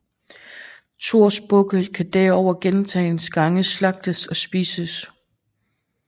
Thors bukke kan derover gentagne gange slagtes og spises